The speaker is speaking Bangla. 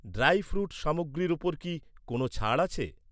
ড্রাই ফ্রুট সামগ্রীর ওপর কি কোনও ছাড় আছে?